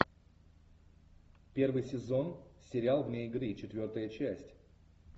первый сезон сериал вне игры четвертая часть